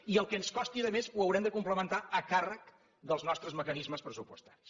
i el que ens costi de més ho haurem de complementar a càrrec dels nostres mecanismes pressupostaris